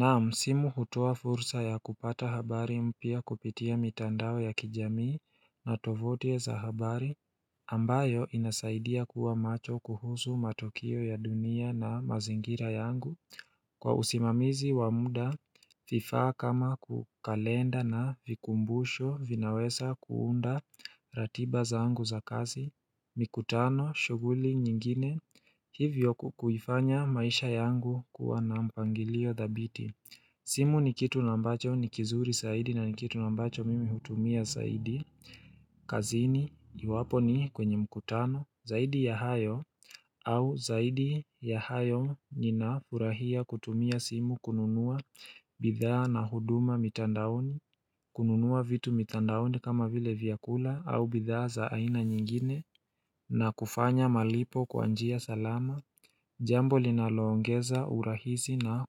Naam simu hutoa fursa ya kupata habari mpia kupitia mitandao ya kijamii na tofuti za habari ambayo inasaidia kuwa macho kuhusu matukio ya dunia na mazingira yangu kwa usimamizi wa mda vifaa kama kukalenda na vikumbusho vinawesa kuunda ratiba zangu za kazi mikutano shughuli nyingine hivyo kukuifanya maisha yangu kuwa na mpangilio thabiti simu ni kitu na ambacho ni kizuri saidi na nikitu na ambacho mimi hutumia saidi kazini iwapo ni kwenye mkutano zaidi ya hayo au zaidi ya hayo nina furahia kutumia simu kununua Bithaa na huduma mitandaoni kununua vitu mitandaoni kama vile vyakula au bithaa za aina nyingine na kufanya malipo kwa njia salama Jambo linaloongeza urahisi na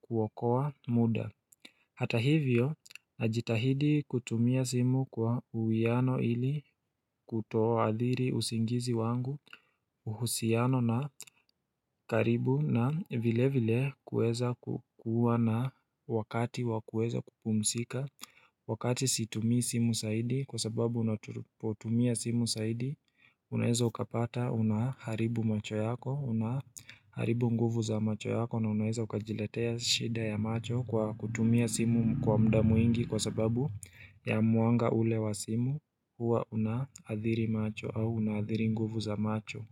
kuokoa muda Hata hivyo na jitahidi kutumia simu kwa uwiano ili kutoadhiri usingizi wangu uhusiano na karibu na vile vile kueza kukua na wakati wakueza kupumsika wakati situmii simu saidi kwa sababu unapotumia simu saidi unaeza ukapata unaharibu macho yako unaharibu nguvu za macho yako na unaeza ukajiletea shida ya macho kwa kutumia simu kwa mda mwingi kwa sababu ya mwanga ule wa simu huwa unaathiri macho au unaathiri nguvu za macho.